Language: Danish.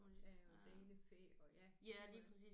Ja og danefæ og ja puha